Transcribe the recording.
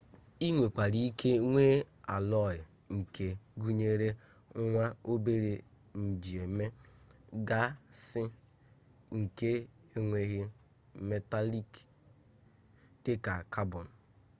i nwekwara ike nwee allọyi nke gụnyere nwa-obere njieme gasị nke enweghị metalik dịka cabọn